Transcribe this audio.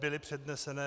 Byly předneseny.